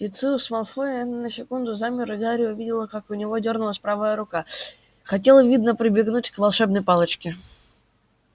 люциус малфой на секунду замер и гарри увидел как у него дёрнулась правая рука хотел видно прибегнуть к волшебной палочке